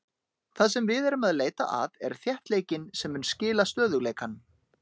Það sem við erum að leita að er þéttleikinn sem mun skila stöðugleikanum.